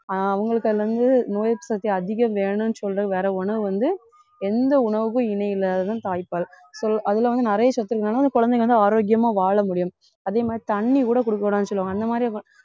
ஆஹ் அவங்களுக்கு அதுல இருந்து நோய் எதிர்ப்பு சக்தி அதிகம் வேணும்னு சொல்ற வர உணவு வந்து எந்த உணவுக்கும் இணை இல்லாததுதான் தாய்ப்பால் கு~ அதுல வந்து நிறைய சத்து இருக்கிறதுனால குழந்தைங்க வந்து ஆரோக்கியமா வாழ முடியும் அதே மாதிரி, தண்ணி கூட கொடுக்க கூடாதுன்னு சொல்லுவாங்க அந்த மாதிரி அப்ப